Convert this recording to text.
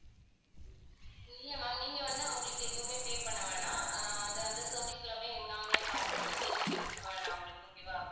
இல்ல ma'am நீங்க வந்து அவங்களுக்கு எதுவுமே pay பண்ண வேணாம் ஆஹ் அது அந்த service எல்லாமே நாங்களே பார்த்துப்போம் நீங்க எதுவுமே கொடுக்க வேண்டாம் அவங்களுக்கு okay வா